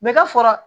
Bɛ ka sɔrɔ